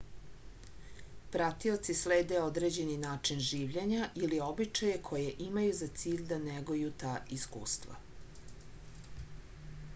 pratioci slede određeni način življenja ili običaje koje imaju za cilj da neguju ta iskustva